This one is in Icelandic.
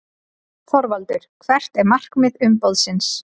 ÞORVALDUR: Hvert er markmið umboðsins?